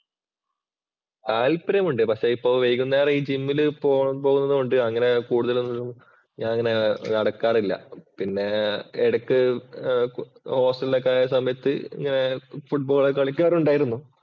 താല്പര്യമുണ്ട് പക്ഷേ ഇപ്പോ വൈകുന്നേരം ഈ ജിമ്മില് പോകുന്നത് കൊണ്ട് അങ്ങനെ കൂടുതൽ ഒന്നും ഞാൻ അങ്ങനെ നടക്കാറില്ല. പിന്നെ എടയ്ക്കു ഹോസ്റ്റല്‍ ഒക്കെയായ സമയത്ത് ഇങ്ങനെ ഫുട്ബോള്‍ ഒക്കെ കളിക്കാറുണ്ടായിരുന്നു.